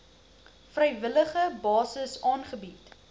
vrywillige basis aangebied